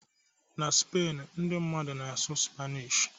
na Spain, ndị mmadụ na-asụ Spanish